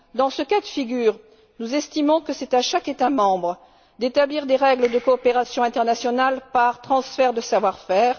Dans ce cas de figure, nous estimons que c'est à chaque État membre d'établir des règles de coopération internationale dans le domaine du transfert de savoir faire.